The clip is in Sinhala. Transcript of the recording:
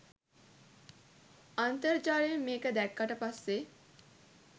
අන්තර් ජාලයෙන් මේක දැක්කට පස්සේ